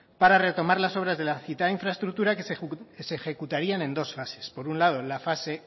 para retomar las obras de la citada infraestructura que se ejecutarían en dos fases por un lado la fase